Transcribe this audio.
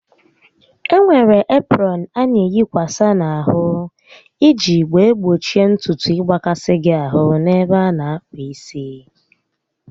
Enwere eprọn a na eyikwasa n'ahụ iji wee gbochie ntutu ịgbakasị gị ahụ n'ebe a na akpụ isi